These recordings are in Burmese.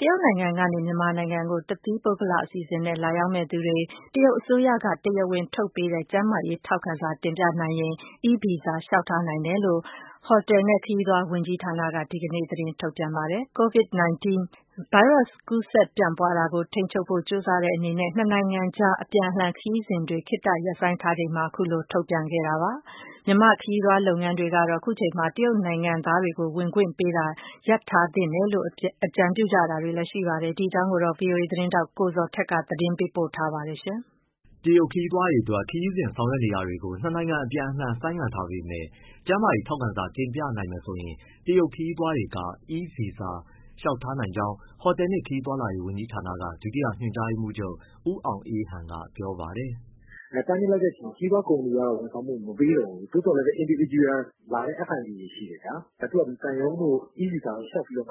တရုတ်နိုင်ငံကနေ မြန်မာနိုင်ငံကို တသီးပုဂ္ဂလအစီအစဉ်နဲ့ လာရောက်မယ့်သူတွေ တရုတ်အစိုးရက တရားဝင် ထုတ်ပေးတဲ့ ကျန်းမာရေးထောက်ခံစာ တင်ပြနိုင်ရင် e-visa လျှောက်ထားနိုင်တယ်လို့ ဟိုတယ်နဲ့ခရီးသွား ဝန်ကြီးဌာနက ဒီကနေ့ သတင်းထုတ်ပြန် ပါတယ်။ Covid-19 ဗိုင်းရပ်စ်ပိုး ကူးစက်ပြန့်ပွားတာကို ထိန်းချုပ်ဖို့ ကြိုးစားတဲ့အနေနဲ့ နှစ်နိုင်ငံအကြား အပြန်အလှန်ခရီးစဉ်တွေ ခေတ္တရပ်ဆိုင်းထားချိန်မှာပဲ အခုလို ထုတ်ပြန်တာပါ။ မြန်မာ ခရီးသွားလုပ်ငန်းတွေကတော့ ခုချိန်မှာ တရုတ်နိုင်ငံသားတွေကို ဝင်ခွင့်ပေးတာ ရပ်ထားသင့်တယ်လို့ အကြံပြုကြပါတယ်။ ဒီအကြောင်း ဗွီအိုအေ သတင်းထောက် ကိုဇော်ထက်က သတင်းပေးပို့ထားပါတယ်။ တရုတ်ခရီးသွားတွေအတွက် ခရီးစဉ်ဆောင်ရွက်တာတွေကို နှစ်နိုင်ငံအပြန်အလှန် ဆိုင်းငံ့ထားပေမဲ့ ကျန်းမာရေးထောက်ခံစာတင်ပြနိုင်မယ်ဆိုရင် တရုတ်ခရီးသွားတွေ e-visa လျှောက်ထားနိုင်ကြောင်း ဟိုတယ်နှင့် ခရီးသွားလာရေး ဝန်ကြီးဌာန ဒုတိယ ညွှန်ကြားရေးမှူးချုပ် ဦးအောင်အေးဟန်က ပြောပါတယ်။ “တားမြစ်လိုက်တဲ့အချိန်မှာ ခရီးသွားကုမ္ပဏီတွေကတော့ ဝန်ဆောင်မှု မပေးတော့ဘူး။ သို့သော်လည်း individual လာတဲ့ FIT တွေရှိတယ်ဗျာ၊ သူဖာသူ သံရုံးတို့ e-visa တို့လျှောက်ပြီးတော့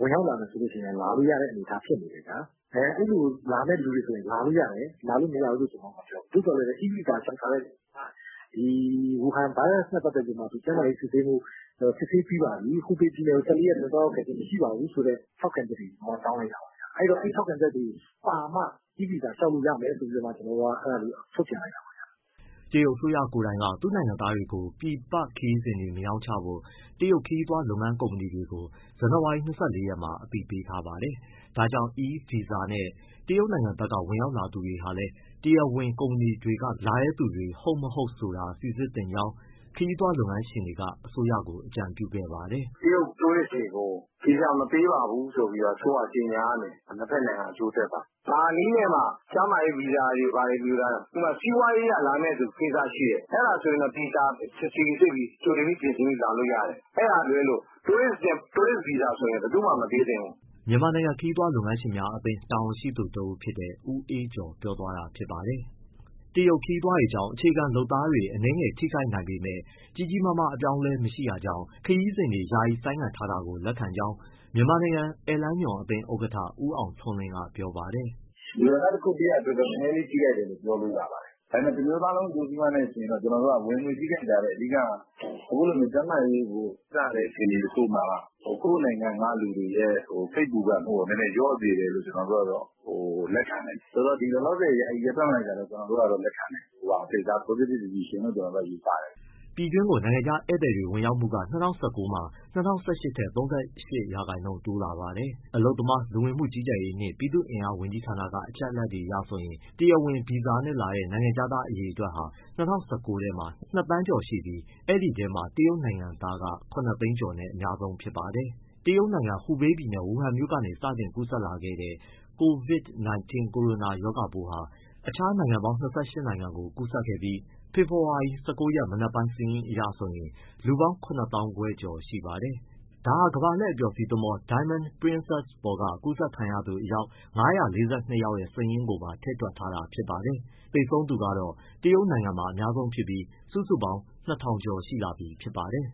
ဝင်ရောက်လာမယ်ဆိုရင်လည်း လာလို့ရတဲ့အနေအထား ဖြစ်နေတယ်ဗျာ။ အဲလိုလာတဲ့သူတွေဆို လာလို့ရတယ်၊ လာလို့မရဘူးလို့မပြောဘူး သို့သော် e-visa လျှောက်ထားရင် ဝူဟန် ဗိုင်းရပ်နဲ့ ပတ်သက်ပြီး ကျန်းမာရေးစစ်ဆေးပြီးပါပြီ၊ ဟူဘေးပြည်နယ်ကို ၁၄ရက်အတွင်း သွားရောက်ခဲ့ခြင်း မရှိပါဘူး ဆိုတဲ့ ထောက်ခံချက်တွေတောင်းလိုက်တာပါဗျ။ အဲဒီ ထောက်ခံချက်တွေပါမှ e-visa လျှောက်လို့ရမယ် ဆိုတာလေး ထုတ်ပြန်လိုက်တာပါ။” တရုတ်အစိုးရကိုယ်တိုင်က သူ့နိုင်ငံသားတွေကို ပြည်ပခရီးစဉ်တွေမရောင်းချဖို့ တရုတ်ခရီးသွားလုပ်ငန်း ကုမ္ပဏီတွေကို ဇန်နဝါရီ ၂၄ရက်မှာ အသိပေးထားပါတယ်။ ဒါကြောင့် e- visa နဲ့ တရုတ်နိုင်ငံဘက်က ဝင်ရောက်လာသူတွေဟာလည်း တရားဝင်ကုမ္ပဏီတွေကနေ လာတဲ့သူတွေ ဟုတ်၊ မဟုတ်ဆိုတာ စိစစ်သင့်ကြောင်း ခရီးသွားလုပ်ငန်းရှင်တွေက အစိုးရကို အကြံပြုခဲ့ပါတယ်။ “တရုတ် Tourist တွေကို ဗီဇာ မပေးပါဘူးဆိုပြီး အစိုးရက ကြေညာရမယ်၊ နှစ်ဘက်နှိင်ငံအကျိုးအတွက်ပါ။ ဘာနည်းနဲ့မှ ကျန်းမာရေး ဗီဇာတွေဘာတွေ၊ ဥပမာ စီးပွားရေးအရ လာမယ့်ကိစ္စရှိသူ အဲဒါဆိုသေချာစိစစ်ပြီး ကြိုတင်ပြင်ဆင်ပြီးလာလို့ရတယ်။ အဲဒါကလွဲလို့ tourist visa ဆိုရင် ဘယ်သူမှ မပေးသင့်ဘူး။” မြန်မာနိုင်ငံခရီးသွားလုပ်ငန်းရှင်များအသင်း တာဝန်ရှိသူတဦးဖြစ်တဲ့ ဦးအေးကျော် ပြောသွားတာဖြစ်ပါတယ်။ တရုတ်ခရီးသွားတွေကြောင့် အခြေခံလုပ်သားတွေအနည်းငယ်ထိခိုက်နိုင်ပေမဲ့ ကြီးကြီးမားမား အပြောင်းအလဲမရှိတာကြောင့် ခရီးစဉ်တွေ ယာယီဆိုင်းငံ့ ထားတာကို လက်ခံကြောင်း မြန်မာနိုင်ငံ ဧည့်လမ်းညွှန်အသင်း ဥက္ကဋ္ဌ ဦးအောင်ထွန်းလင်းက ပြောပါတယ်။ “ လူတန်းစားတရပ်အတွက် နည်းနည်းလေးထိခိုက်တယ်လို့ ပြောလို့ရပါတယ်။ ဒါပေမဲ့ တမျိုးသားလုံး အကျိုးစီးပွားနဲ့ ယှဉ်ရင်တော့ ကျနော်တို့က ဝင်ငွေ ထိခိုက်တာထက် အဓိက က အခုလိုကျန်းမာရေးကို ဂရုစိုက်ရတဲ့ အခြေအနေတခုမှာ ကိုယ့်နိုင်ငံက လူတွေရဲ့ စိတ်ပူပန်မှုကို နည်းနည်းလျော့စေတယ်လို့ ကျနော်တို့က လက်ခံတယ်၊ ဆိုတော့ လောလောဆယ် ယာယီရပ်တန့်လိုက်တာကို လက်ခံတယ်မူအားဖြင့်၊ ဒါ positive decision လို့ယူဆတယ်။” ပြည်တွင်းကို နိုင်ငံခြားဧည့်သည်ဝင်ရောက်မှုက ၂၀၁၉ မှာ ၂၀၁၈ ထက် ၃၈% တိုးလာပါတယ်။ အလုပ်သမား၊ လူဝင်မှုကြီးကြပ်ရေးနှင့် ပြည်သူ့အင်အားဝန်ကြီးဌာန အချက်အလက်တွေအရဆိုရင် တရားဝင်ဗီဇာနဲ့လာတဲ့ နိုင်ငံခြားသားအရေအတွက်ဟာ ၂၀၁၉ မှာ ၂သန်းနီးကျော်ရှိပြီး အဲဒီအထဲမှာ တရုတ်နိုင်ငံသားက ၇သိန်းကျော်နဲ့ အများဆုံးဖြစ်ပါတယ်။ တရုတ်နိုင်ငံ၊ ဟူဘေးပြည်နယ်၊ ဝူဟမ်မြို့ကနေ စတင်ကူးစက်လာတဲ့ Covid 19 ကိုရိုနာရောဂါပိုးဟာ အခြားနိုင်ငံပေါင်း ၂၈ နိုင်ငံကိုကူးစက်ခဲ့ပြီး ဖေဖော်ဝါရီ ၁၉ရက် မနက်ပိုင်း စာရင်းအရဆိုရင် လူပေါင်း ၇၅၀၀၀ ကျော်ရှိပါတယ်။ ဒါဟာ ကမ္ဘာလှည့်အပျော်စီးသင်္ဘော Diamond Princess ပေါ်က ကူးစက်ခံရသူ အယောက် ၅၄၂ ယောက်ရဲ့ စာရင်းကိုပါ ထည့်တွက်ထားတာ ဖြစ်ပါတယ်။ သေဆုံးကတော့ တရုတ်နိုင်ငံမှာအများဆုံးဖြစ်ပြီး စုစုပေါင်း ၂၀၀၀ ကျော်ရှိလာပြီ ဖြစ်ပါတယ်။